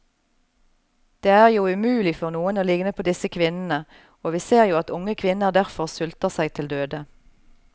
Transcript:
Det er jo umulig for noen å ligne på disse kvinnene, og vi ser jo at unge kvinner derfor sulter seg til døde.